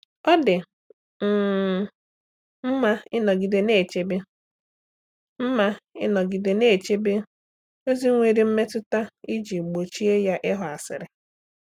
Ọ dị um mma ịnọgide na-echebe mma ịnọgide na-echebe ozi nwere mmetụta iji gbochie ya ịghọ asịrị.